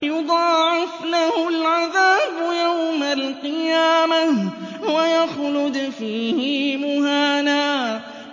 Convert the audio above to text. يُضَاعَفْ لَهُ الْعَذَابُ يَوْمَ الْقِيَامَةِ وَيَخْلُدْ فِيهِ مُهَانًا